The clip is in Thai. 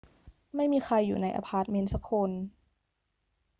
ไม่มีใครอยู่ในอะพาร์ตเมนต์สักคน